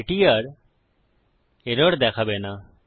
এটি আর এরর দেখাবে না